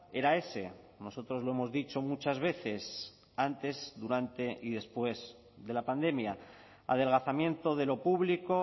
era ese nosotros lo hemos dicho muchas veces antes durante y después de la pandemia adelgazamiento de lo público